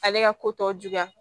Ale ka ko tɔ juguya